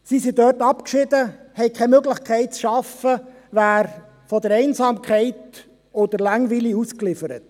Sie sind dort abgeschieden, haben keine Möglichkeit zu arbeiten, wären Einsamkeit und Langeweile ausgeliefert.